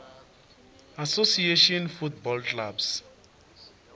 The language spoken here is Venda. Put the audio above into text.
association football clubs